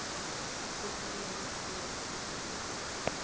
kufanele alethe isibawo